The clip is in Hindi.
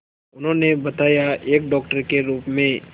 उन्होंने बताया एक डॉक्टर के रूप में